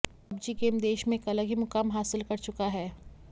PUBG game देश में एक अलग ही मुकाम हासिल कर चुका है